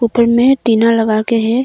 घर मैं टीना लगा के हैं।